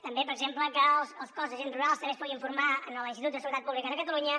també per exemple que el cos d’agents rurals també es pugui formar a l’institut de seguretat pública de catalunya